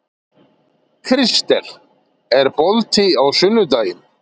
Kristel, er bolti á sunnudaginn?